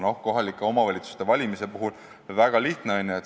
Noh, kohalike omavalitsuste valimise puhul on tegelikult väga lihtne, eks ole.